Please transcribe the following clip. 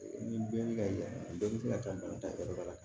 Ni bɛɛ bɛ ka yan bɛɛ bɛ se ka taa bana ta yɔrɔ dɔ la